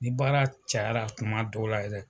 N baara cayara tuma dɔw la yɛrɛ